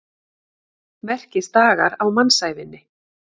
Merkisdagar á mannsævinni.